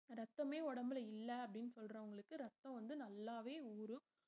ரத்தமே உடம்புல இல்ல அப்படின்னு சொல்றவங்களுக்கு ரத்தம் வந்து நல்லாவே ஊரும்